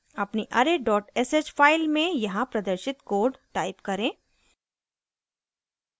अपनी array sh file में यहाँ प्रदर्शित code type करें